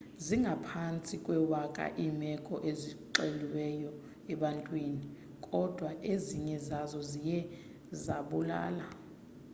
zingaphantsi kwewaka iimeko ezixeliweyo ebantwini kodwa ezinye zazo ziye zabulala